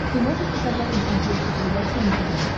ты можешь показать на смотрешке передачу нтв